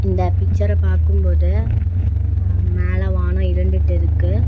இந்த பிக்சர பாக்கும் போது அ மேல வானோ இருண்டுட்டிருக்கு.